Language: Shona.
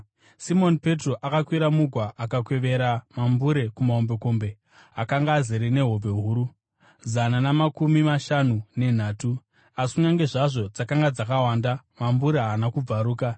Simoni Petro akakwira mugwa akakwevera mambure kumahombekombe. Akanga azere nehove huru, zana namakumi mashanu nenhatu, asi kunyange zvazvo dzakanga dzakawanda, mambure haana kubvaruka.